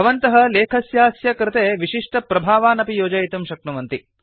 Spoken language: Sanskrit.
भवन्तः लेखस्यास्य कृते विशिष्टप्रभावान् अपि योजयितुं शक्नुवन्ति